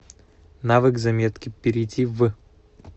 навык заметки перейди в